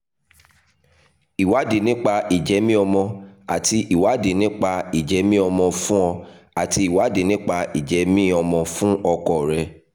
ìwádìí nípa ìjẹ́mìí-ọmọ́ àti ìwádìí àti ìwádìí nípa ìjẹ́mìí-ọmọ́ fún ọ àti ìwádìí nípa ìjẹ́mìí-ọmọ́ fún ọkọ rẹ